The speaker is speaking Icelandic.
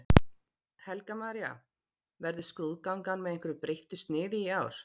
Helga María: Verður skrúðgangan með einhverju breyttu sniði í ár?